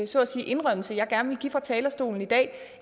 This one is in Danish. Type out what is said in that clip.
så at sige indrømmelse jeg gerne vil give fra talerstolen i dag